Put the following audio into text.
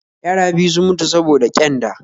Yara biyu sun mutu saboda ƙyanda